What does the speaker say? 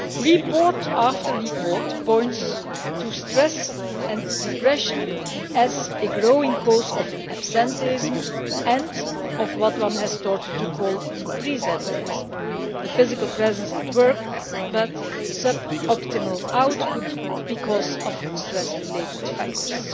Report after report points to stress and depression as a growing cause of absenteeism and of what one has started to call presentism', a physical presence at work but sub optimal output because of stress related factors.